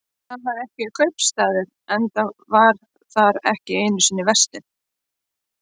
En þar var ekki kaupstaður, enda var þar ekki einu sinni verslun.